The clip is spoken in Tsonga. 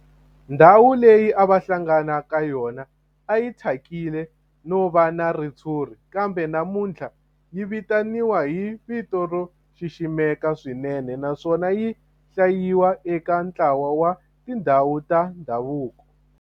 Ndhawu leyi a va hlangana ka yona a yi thyakile no va na ritshuri kambe namuntlha yi vitaniwa hi vito ro xiximeka swinene naswona yi hlayiwa eka ntlawa wa tindhawu ta ndhavuko.